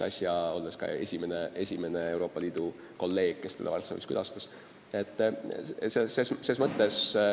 Olin muuseas tema esimene Euroopa Liidu kolleeg, kes teda Varssavis külastas.